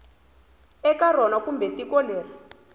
eka rona kumbe tiko leri